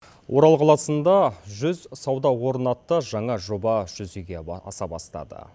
орал қаласында жүз сауда орны атты жаңа жоба жүзеге аса бастады